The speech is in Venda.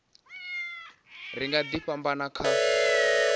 ri nga ḓi fhambana kha